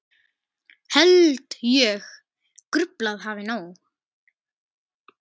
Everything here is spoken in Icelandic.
Held ég gruflað hafi nóg.